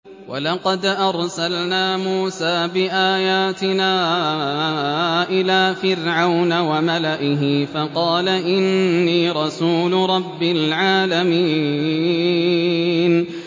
وَلَقَدْ أَرْسَلْنَا مُوسَىٰ بِآيَاتِنَا إِلَىٰ فِرْعَوْنَ وَمَلَئِهِ فَقَالَ إِنِّي رَسُولُ رَبِّ الْعَالَمِينَ